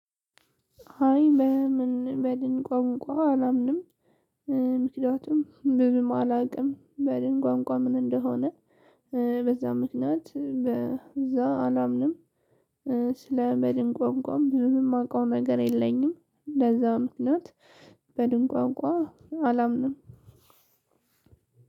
አይ በምን በድን ቋንቋ አላምንም። ምክንያቱም ብዙም አላውቅም በድን ቋንቋ ምን እንደሆነ? በዛም ምክንያት በዛ አላምንም። በድን ቋንቋም ብዙም የማውቀው ነገር የለኝም። በዛም ምክንያት በድን ቋንቋ አላምንም።